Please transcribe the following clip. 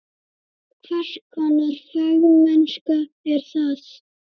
Hvers konar fagmennska er það?